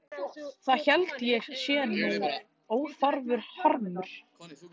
Það held ég sé nú óþarfur harmur.